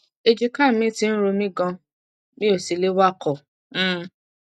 èjìká mi ti ń ro mí ganan mi ò sì lè wakọ um